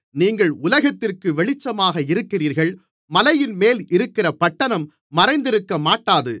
நீங்கள் உலகத்திற்கு வெளிச்சமாக இருக்கிறீர்கள் மலையின்மேல் இருக்கிற பட்டணம் மறைந்திருக்கமாட்டாது